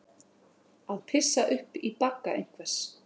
Að pissa upp í bagga einhvers